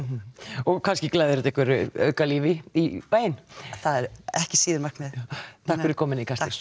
og kannski glæðir þetta einhverju auka lífi í bæinn það er ekki síður markmiðið takk fyrir komuna